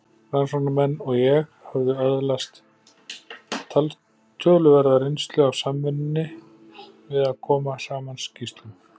Rannsóknarmenn og ég höfðum öðlast töluverða reynslu af samvinnunni við að koma saman skýrslum.